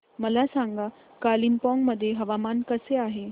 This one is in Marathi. मला सांगा कालिंपोंग मध्ये हवामान कसे आहे